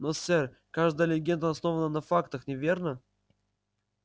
но сэр каждая легенда основана на фактах верно